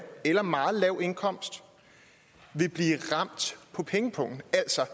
eller meget lav indkomst vil blive ramt på pengepungen altså